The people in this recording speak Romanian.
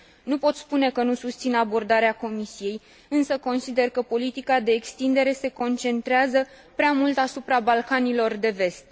Nu pot spune că nu susțin abordarea Comisiei, însă consider că politica de extindere se concentrează prea mult asupra Balcanilor de Vest.